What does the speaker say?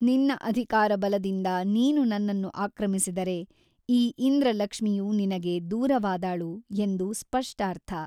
ನಿನ್ನ ಅಧಿಕಾರಬಲದಿಂದ ನೀನು ನನ್ನನ್ನು ಆಕ್ರಮಿಸಿದರೆ ಈ ಇಂದ್ರಲಕ್ಷ್ಮಿಯು ನಿನಗೆ ದೂರವಾದಾಳು ಎಂದು ಸ್ಪಷ್ಠಾರ್ಥ.